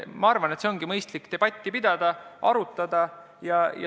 Ma arvan, et ongi mõistlik debatti pidada, asja arutada.